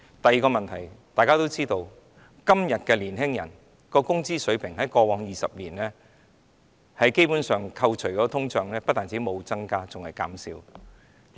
第二個問題，大家都知道在過去20年，年青人的工資水平在扣除通脹後，基本上不但沒有增加，反而減少了。